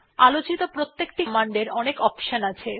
আলোচিত প্রত্যেকটি কমান্ড এর অনেকগুলি অপশন আছে